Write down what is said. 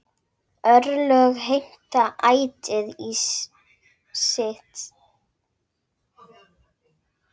Örlög heimta ætíð sitt.